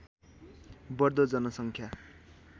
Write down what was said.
बढ्दो जनसङ्ख्या